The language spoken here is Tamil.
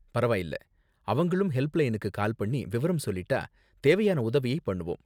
பரவாயில்ல, அவங்களும் ஹெல்ப்லைனுக்கு கால் பண்ணி விவரம் சொல்லிட்டா தேவையான உதவியை பண்ணுவோம்.